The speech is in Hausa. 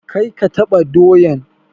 Kar ka taɓa doyan!